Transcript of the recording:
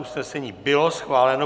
Usnesení bylo schváleno.